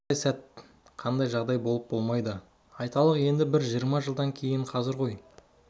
бірақ қандай сәт қандай жағдайда болжап болмайды айталық енді бір жиырма жылдан кейін қазір ғой он